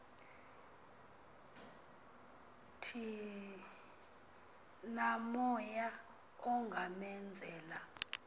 thi namoya ungamenzela